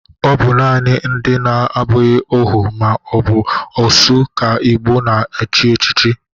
Ọ bụ nanị ndị na-abụghị ohu ma ọ bụ osu ka Igbo na-echi echichi